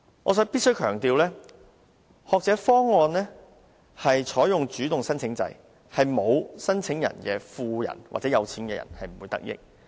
我必須強調，學者方案採用主動申請制，沒有申請的富人是不會得益。